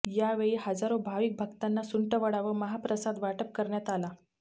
यावेळी हजारो भविक भक्तांना सुंटवडा व महाप्रसाद वाटप करण्यात आला